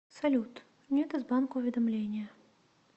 салют нет из банка уведомления